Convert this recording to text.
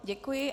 Děkuji.